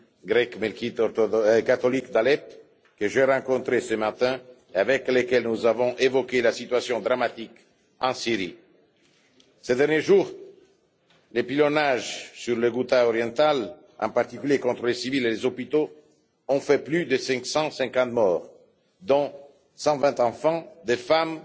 grecque melkite catholique d'Alep, que j'ai rencontré ce matin et avec lequel nous avons évoqué la situation dramatique en Syrie. Ces derniers jours, les pilonnages sur la Ghouta orientale, en particulier contre les civils et les hôpitaux, ont fait plus de 550 morts dont 120 enfants, des femmes,